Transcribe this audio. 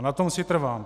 A na tom si trvám.